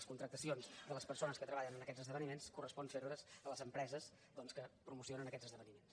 les contractacions de les persones que treballen en aquests esdeveniments correspon fer les a les empreses doncs que promocionen aquests esdeveniments